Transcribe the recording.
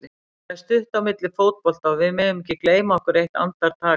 Það er stutt á milli í fótbolta og við megum ekki gleyma okkur eitt andartak.